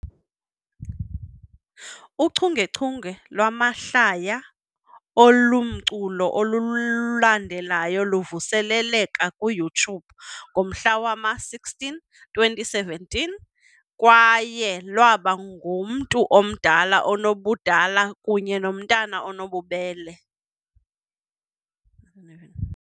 Uchungechunge lwamahlaya olumculo olulandelayo luvuseleleka kwiYouTube ngomhla wama-16, 2017 kwaye lwaba ngumntu omdala onobudala kunye nomntwana onobubele.